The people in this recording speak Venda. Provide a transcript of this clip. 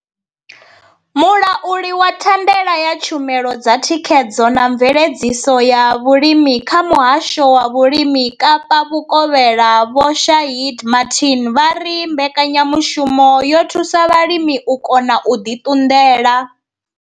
Mulauli wa thandela ya tshumelo dza thikhedzo na mveledziso ya vhulimi kha Muhasho wa Vhulimi Kapa Vhukovhela Vho Shaheed Martin vha ri mbekanya mushumo yo thusa vhalimi u kona u ḓi ṱunḓela.